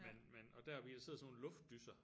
Men men og deroppe i der sidder sådan nogle luftdyser